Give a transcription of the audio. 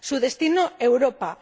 Su destino Europa.